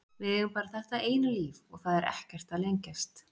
Við eigum bara þetta eina líf og það er ekkert að lengjast.